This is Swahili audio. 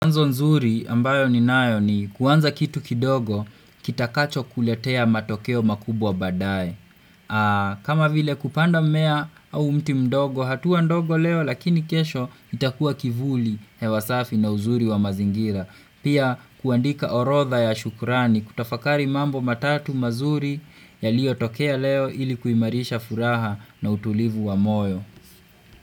Wanzo nzuri ambayo ninayo ni kuanza kitu kidogo kitakacho kuletea matokeo makubwa badaye kama vile kupanda mmea au mti mdogo hatuwa ndogo leo lakini kesho itakua kivuli hewasafi na uzuri wa mazingira. Pia kuandika orodha ya shukurani kutafakari mambo matatu mazuri yaliyo tokea leo ilikuimarisha furaha na utulivu wa moyo.